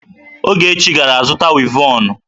Ogechi gara zuta wivọnụ.